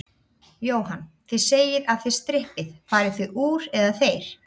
Jóhann: Þið segið að þið strippið, farið þið úr, eða þeir?